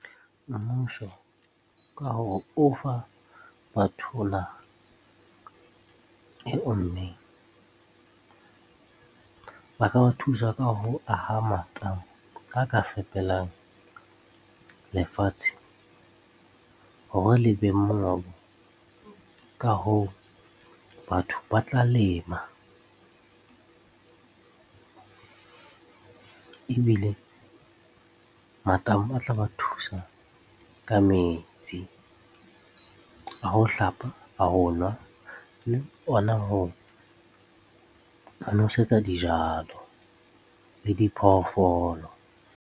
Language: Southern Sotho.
Mmuso ka hore o fa batho naha e ommeng, ba ka ba thusa ka ho aha matamo a ka fepelang lefatshe hore le beng mongobo. Ka hoo, batho ba tla lema ebile matamo a tla ba thusa ka metsi a ho hlapa, a ho nwa le ona ho nosetsa dijalo le di phoofolo.